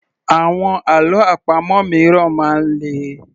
Àwọn àlọ́ àpamọ̀ míràn máa ń le